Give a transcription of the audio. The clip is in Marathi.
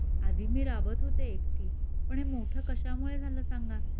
आधी मी राबत होते एकटी पण हे मोठ कशा मुळे झालं सांगा?